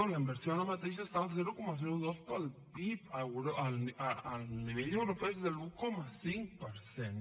la inversió ara mateix està al zero coma dos del pib el nivell europeu és de l’un coma cinc per cent